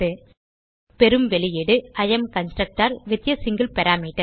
பெறும் வெளியீடு I am constructor with a single parameter